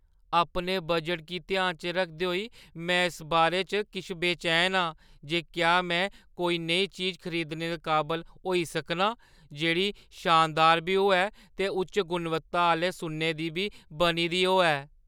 अपने बजटै गी ध्याना च रखदे होई, में इस बारे च किश बेचैन आं जे क्या में कोई नेही चीज खरीदने दे काबल होई सकनां जेह्ड़ी शानदार बी होऐ ते उच्च गुणवत्ता आह्‌ले सुन्ने दी बी बनी दी होऐ।